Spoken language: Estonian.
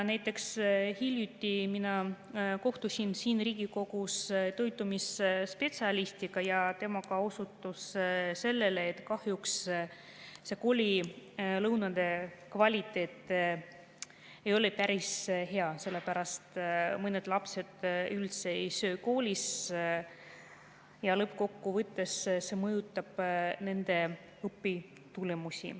Hiljuti ma kohtusin siin Riigikogus toitumisspetsialistiga ja tema ka osutas sellele, et kahjuks koolilõuna kvaliteet ei ole päris hea, sellepärast mõned lapsed üldse ei söö koolis ja lõppkokkuvõttes see mõjutab nende õpitulemusi.